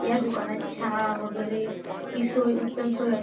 या दुकानात चहा वगैरेची सोय उत्तम सोय असते.